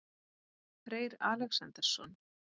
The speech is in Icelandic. Freyr Alexandersson?